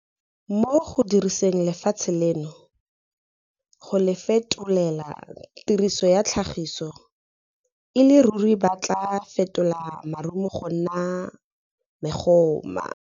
Mo go diriseng lefatshe leno, go le fetolela tiriso ya tlhagiso, e le ruri ba tla fetola marumo go nna megoma.